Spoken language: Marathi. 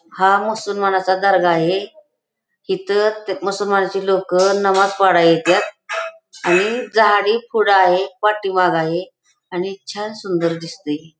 हा मुसलमानाचा दर्गा आहे इथ मुसलमानाची लोक नमास पडाया येत्यात आणि झाडी खोडा आहे पाठीमाग आहे आणि छान सुंदर दिसतय.